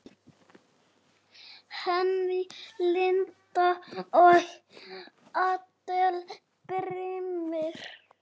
Henný Lind og Adel Brimir.